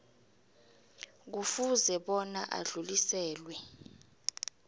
kufuze bona adluliselwe